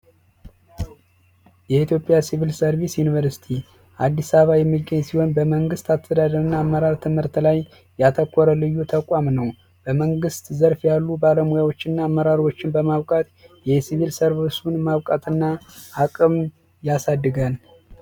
የኢትዮጵያ ሲቪል ሰርቪስ ዩኒቨርስቲ አዲስ አበባ የሚገኘው ሲሆን በመንግስት አስተዳደርና አመራር ትምህርት ላይ ያተኮረ ልዩ ተቋም በመንግስት ዘርፍ ያሉ ባለሙያዎች እና አመራሮችን በሲቪል ሰርቪስ ማውጣትና አቅም ያሳድጋል